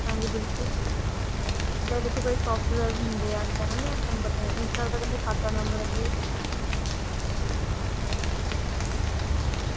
ਹਾਂਜੀ ਬਿਲਕੁਲ ਜਿੰਦਾ ਦੇਖੋ ਕਈ ਹੁੰਦੇ ਹਾਂ ਜਿੰਦਾ ਹੈਨਾ ਤੁਹਾਨੂੰ ਪਤਾ ਹੈ ਇਸ ਗੱਲ ਦਾ ਕਹਿੰਦੇ ਖਾਤਾ ਨੰਬਰ ਅਸੀ।